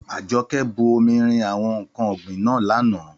Àjọkẹ́ bu omi rin àwọn ǹkan ọ̀gbìn náà lánàá.